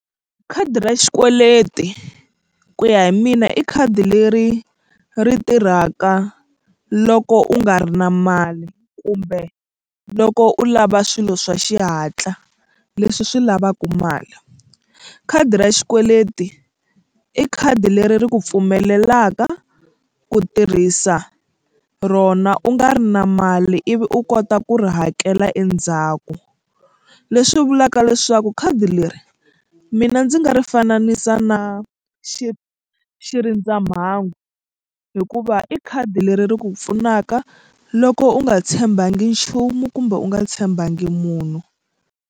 Khadi ra xikweleti ku ya hi mina i khadi leri ri tirhaka loko u nga ri na mali kumbe loko u lava swilo swa xihatla leswi swi lavaku mali. Khadi ra xikweleti i khadi leri ri ku pfumelelaka ku tirhisa rona u nga ri na mali ivi u kota ku ri hakela endzhaku leswi vulaka leswaku khadi leri mina ndzi nga ri fananisi na xi xirindzamhangu hikuva i khadi leri ri ku pfunaka loko u nga tshembakangi nchumu kumbe u nga tshembakangi munhu.